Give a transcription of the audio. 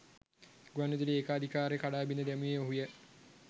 ගුවන් විදුලි ඒකාධිකාරිය කඩා බිද දැමුවේ ඔහුය